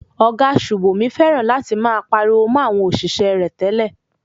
Ọ̀gá Sùbòmí fẹ́ràn láti máa pariwo mo àwọn òṣìṣẹ́ rẹ̀ tẹ́lẹ̀.